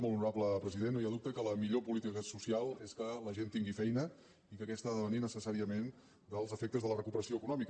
molt honorable president no hi ha dubte que la millor política social és que la gent tingui feina i que aquesta ha de venir necessàriament dels efectes de la recuperació econòmica